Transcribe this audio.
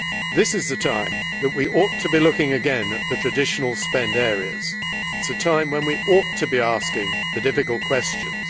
This is the time when we ought to be looking again at the traditional spending areas. It is a time when we ought to be asking the difficult questions.